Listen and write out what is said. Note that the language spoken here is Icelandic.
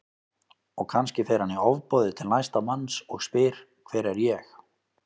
Og kannski fer hann í ofboði til næsta manns og spyr Hver er ég?